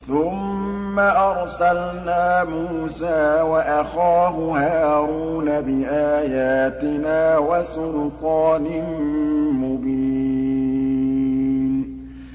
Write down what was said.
ثُمَّ أَرْسَلْنَا مُوسَىٰ وَأَخَاهُ هَارُونَ بِآيَاتِنَا وَسُلْطَانٍ مُّبِينٍ